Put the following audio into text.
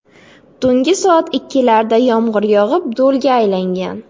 Tungi soat ikkilarda yomg‘ir yog‘ib, do‘lga aylangan.